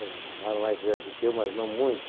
eram mais velhos do que eu, mas não muito.